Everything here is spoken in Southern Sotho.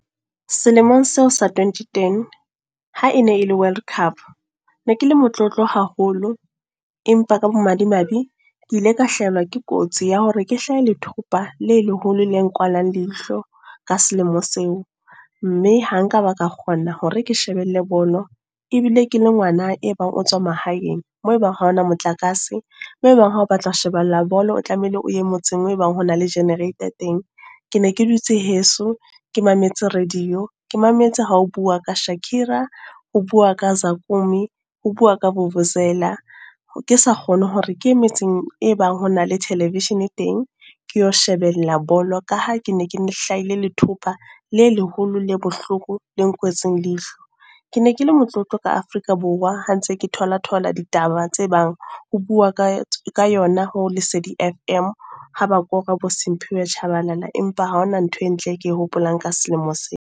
Selemong seo sa twenty-ten, ha e ne e le World Cup. Ne ke le motlotlo haholo. Empa ka bo madimabe. Ke ile ka hlahelwa ke kotsi ya hore ke hlahe lethopa le leholo le nkwalang leihlo, ka selemo seo. Mme ha nka ba ka kgona hore ke shebelle bolo. Ebile ke le ngwana e bang o tswa mahaeng. Mo ebang ha hona motlakase, mo ebang ha o batla ho shebella bolo o tlamehile o ye motseng moo e bang ho na le generator teng. Ke ne ke dutse heso. Ke mametse radio. Ke mametse ha o buuwa ka Shakira, ho buuwa ka Zakukume, ho buuwa ka vuvuzela. Ke sa kgone hore ke ye metseng e bang ho na le television teng, ke yo shebella bolo. Ka ha ke ne ke hlahile lethopa, le leholo le bohloko le nkwetsweng leihlo. Ke ne ke le motlotlo ka Afrika Borwa. Ha ntse ke thola thola ditaba tse bang ho buuwa ka ka yona ho Lesedi F_M. Haba bua ka bo Simphiwe Tshabalala, empa ha hona ntho e ntle ke e hopolang ka selemo se.